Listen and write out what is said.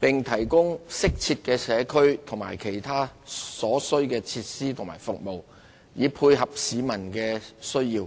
並提供適切的社區或其他所需設施和服務，以配合市民需要。